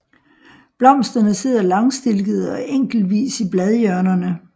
Blomsterne sidder langstilkede og enkeltvis i bladhjørnerne